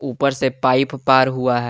ऊपर से पाइप पार हुआ है।